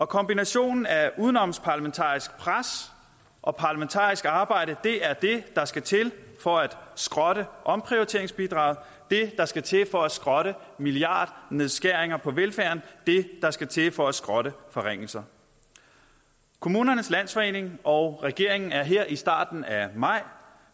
kombinationen af udenomsparlamentarisk pres og parlamentarisk arbejde er det der skal til for at skrotte omprioriteringsbidraget det der skal til for at skrotte milliardnedskæringer på velfærden det der skal til for at skrotte forringelser kommunernes landsforening og regeringen er her i starten af maj